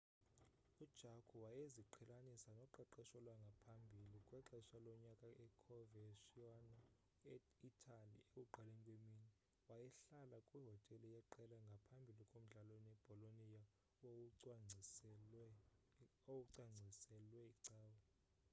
ujarque wayeziqhelanisa noqeqesho lwangaphambi kwexesha lonyaka e-coverciano e-itali ekuqaleni kwemini. wayehlala kwihotele yeqela ngaphambi komdlalo nebolonia owawucwangciselwe icawe